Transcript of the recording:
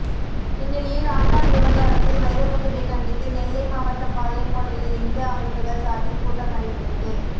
இந்நிலையில் ஆண்டாள் விவகாரத்தில் வைரமுத்துவை கண்டித்து நெல்லை மாவட்டம் பாளையங்கோட்டையில் இந்து அமைப்புகள் சார்பில் கூட்டம் நடைபெற்றது